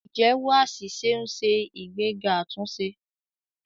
Ìjẹ́wọ́ àṣìṣe ń ṣe ìgbéga àtúnṣe.